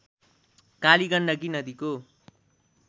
काली गण्डकी नदीको